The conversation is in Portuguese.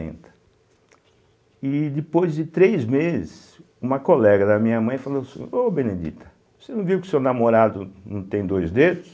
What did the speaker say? E depois de três meses, uma colega da minha mãe falou assim, ô Benedita, você não viu que o seu namorado não tem dois dedos?